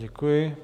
Děkuji.